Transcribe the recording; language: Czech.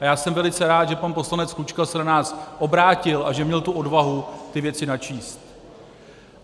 A já jsem velice rád, že pan poslanec Klučka se na nás obrátil a že měl tu odvahu ty věci načíst.